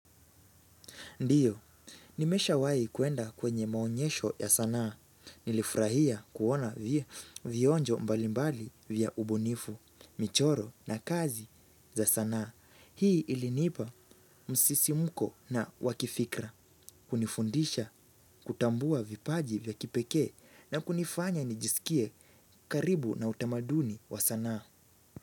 Ndiyo, nimeshawai kuenda kwenye maonyesho ya sanaa, nilifurahia kuona vionjo mbalimbali vya ubunifu, michoro na kazi za sanaa. Hii ilinipa msisimuko na wakifikra, kunifundisha, kutambua vipaji vya kipekee na kunifanya nijisikie karibu na utamaduni wa sanaa.